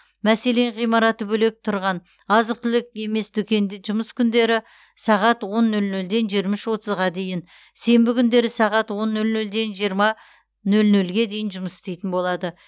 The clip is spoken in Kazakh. мәселен ғимараты бөлек тұрған азық түлік емес дүкендер жұмыс күндері сағат он нөл нөлден жиырма отызға дейін сенбі күндері сағат он нөл нөлден жиырма нөл нөлге дейін жұмыс істейтін болады